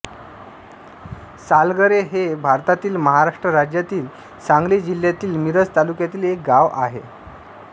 सालगरे हे भारतातील महाराष्ट्र राज्यातील सांगली जिल्ह्यातील मिरज तालुक्यातील एक गाव आहे